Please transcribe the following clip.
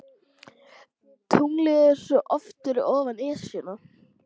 Tunglið er svo oft fyrir ofan Esjuna.